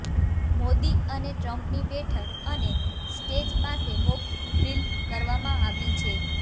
મોદી અને ટ્રમ્પની બેઠક અને સ્ટેજ પાસે મોક ડ્રિલ કરવામાં આવ્યું છે